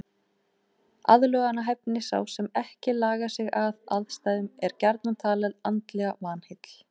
Aðlögunarhæfni Sá sem ekki lagar sig að aðstæðum er gjarnan talinn andlega vanheill.